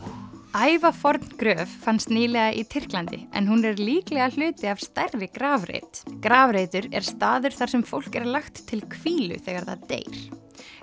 ævaforn gröf fannst nýlega í Tyrklandi en hún er líklega hluti af stærri grafreit grafreitur er staður þar sem fólk er lagt til hvílu þegar það deyr